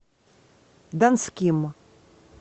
донским